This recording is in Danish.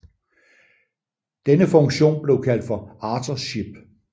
Denne funktion blev kaldt for Author Ship